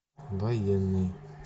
военный